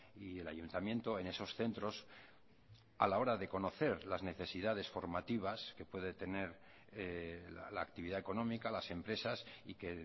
y el ayuntamiento en esos centros a la hora de conocer las necesidades formativas que puede tener la actividad económica las empresas y que